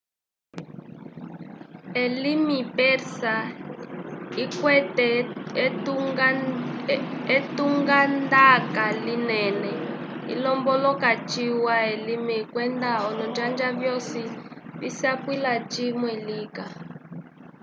elimi persa ikwete etungandaka linene ilombolola ciwa elimi kwenda olonjanja vyosi visapwila cimwe lika